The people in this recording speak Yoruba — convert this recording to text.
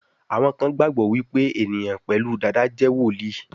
Àwọn kán gbagbọ wipe eniyan pẹlu Dàda jé woli.